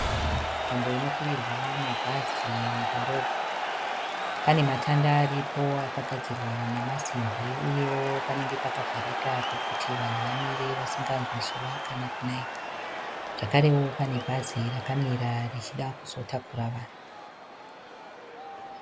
Nzvimbo ino kwirirwa mabhazi mudhorobha. Pane matanda aripo akagadzirwa nemasimbi uyewo panenge pakavharika pekuti vanhu vamire vasinganzwi zuva kana kunaiwa. Zvakarewo pane bhazi rakamira richida kuzotakura vanhu.